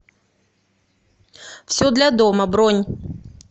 все для дома бронь